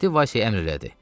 Mehdi Vasya əmr elədi.